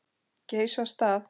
Geysi af stað.